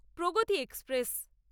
Pragati express